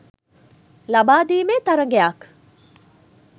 ලබා දීමේ තරගයක්.